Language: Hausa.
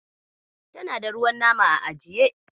Tana da ruwan nama a ajiye.